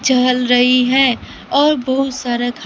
चल रही है और बहुत सारा--